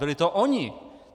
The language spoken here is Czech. Byli to oni.